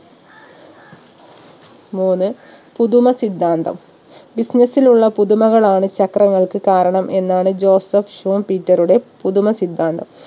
മൂന്ന് പുതുമ സിദ്ധാന്തം business ലുള്ള പുതുമകളാണ് ചക്രങ്ങൾക്ക് കാരണം എന്നാണ് ജോസഫ് ഷൂൺ പീറ്ററുടെ പുതുമ സിദ്ധാന്തം